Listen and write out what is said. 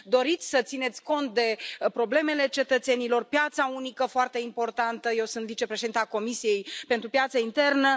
Doriți să țineți cont de problemele cetățenilor, piața unică, foarte importantă, eu sunt vicepreședinta Comisiei pentru piața internă.